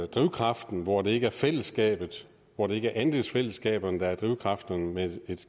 drivkraften hvor det ikke er fællesskabet hvor det ikke er andelsfællesskaberne der er drivkraften men